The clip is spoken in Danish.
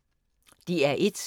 DR1